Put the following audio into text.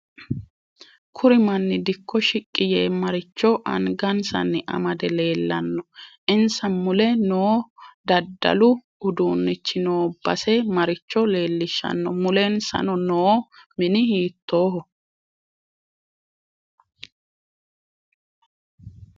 Kuri manni dikko shiqqi yee maricho anagasani amade leelanno insa mule noo daddalu uduunichi noo base maricho leelishanno mulensa noo mini hiitooho